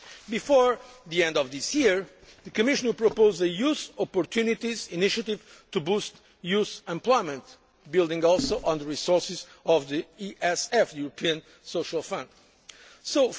Before the end of this year the Commission will propose a Youth Opportunities Initiative to boost youth employment, also building on the resources of the European Social Fund